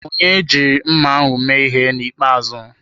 Onye jiri mma ahụ mee ihe na ikpeazụ.